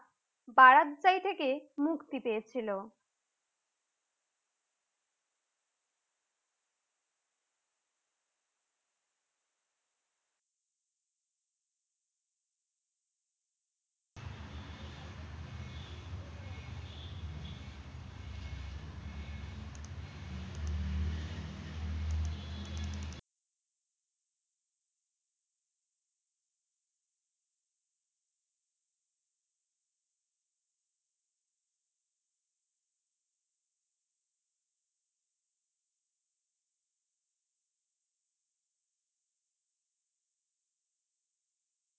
বারাদ্দাই থেকে মুক্তি পেয়েছিল।